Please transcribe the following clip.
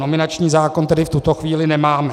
Nominační zákon tedy v tuto chvíli nemáme.